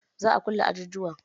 Za'a kulle ajujuwan?